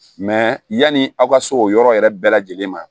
yanni aw ka se o yɔrɔ yɛrɛ bɛɛ lajɛlen ma